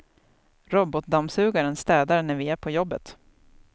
Robotdammsugaren städar när vi är på jobbet.